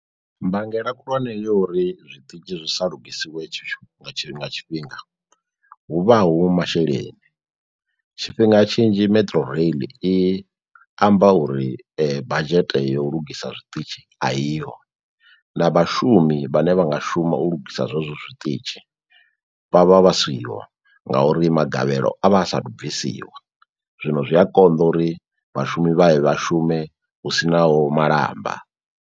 Mbangela khulwane yo uri zwiṱitshi zwi sa lugisiwe nga tshi nga tshifhinga huvha hu masheleni. Tshifhinga tshinzhi metrorail i amba uri budget ya u lugisa zwiṱitshi a iho na vhashumi vhane vha nga shuma u lugisa zwezwo zwiṱitshi vha vha vha siho ngauri magavhelo a vha a sathu bvisiwa, zwino zwi a konḓa uri vhashumi vha ye vha shume hu sinaho malamba.